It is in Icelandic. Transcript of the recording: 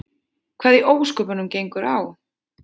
Hvað í ósköpunum gengur á?